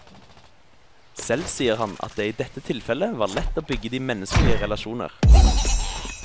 Selv sier han at det i dette tilfellet var lett å bygge de menneskelige relasjoner.